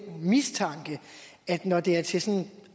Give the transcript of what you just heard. mistanke at når det er til